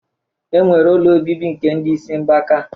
E nwere ụlọ obibi nke ndị isi mgbaka.